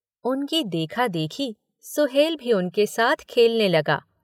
उनकी देखा-देखी सुहेल भी उनके साथ खेलने लगा।